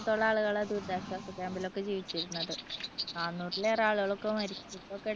ആളുകളായി ദുരിതാശ്വാസ ക്യാമ്പിലൊക്കെ ജീവിച്ചിരുന്നത് നാനൂറിൽ ഏറെ ആളുകൾ മരിക്കൊക്കെ ഉണ്ടായിരുന്നു.